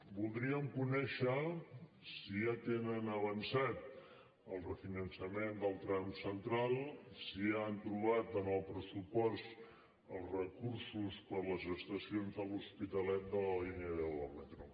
voldríem conèixer si ja tenen avançat el refinançament del tram central si ja han trobat en el pressupost els recursos per a les estacions de l’hospitalet de la línia deu del metro